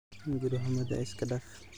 Hunguri humada iskadaaf.